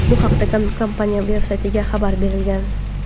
Bu haqda kompaniya veb-saytidagi xabar berilgan.